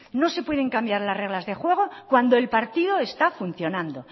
no se pueden cambiar las reglas de juego cuando el partido está funcionando